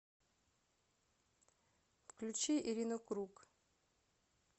включи ирину круг